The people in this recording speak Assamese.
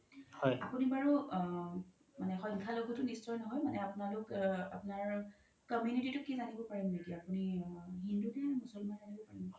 আপোনি বাৰু আ সংখ্যা লাঘো মানে আপোনালোক আপোনাৰ community তো কি জানিব পাৰিম নেকি আপোনি হিন্দু নে মুচল্মান জানিব পাৰিম নেকি